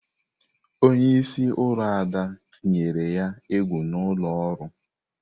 Onye isi oru Ada tinyere ya egwu n'ụlọ ọrụ.